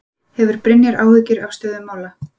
Hefur Brynjar áhyggjur af stöðu mála?